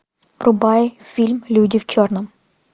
врубай фильм люди в черном